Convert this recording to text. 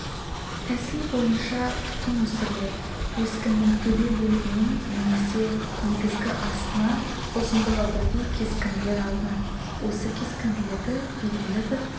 тәсіл бойынша тұқым өсіріледі өскіннің төбе бөлігінен немесе негізгі астынан ұзындығы бірдей кесінділер алынады осы кесінділерді белгілі бір